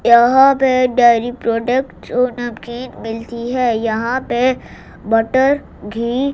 यहां पे एक डायरी प्रोडक्ट जो नमकीन मिलती है यहां पे बटर घी--